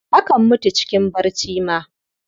Akan mutu cikin barci ma.